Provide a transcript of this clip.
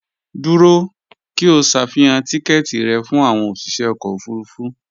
Dúró! kí o ṣàfihàn tíkẹ́ẹ̀tì rẹ fún àwọn òsìṣẹ́ ọkọ̀ òfurufú